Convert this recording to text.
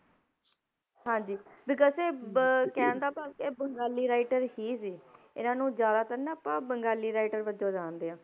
ਹਾਂਜੀ because ਇਹ ਬ~ ਕਹਿਣ ਦਾ ਭਾਵ ਇਹ ਬੰਗਾਲੀ writer ਹੀ ਸੀ ਇਹਨਾਂ ਨੂੰ ਜ਼ਿਆਦਾਤਰ ਨਾ ਆਪਾਂ ਬੰਗਾਲੀ writer ਵਜੋਂ ਜਾਣਦੇ ਹਾਂ।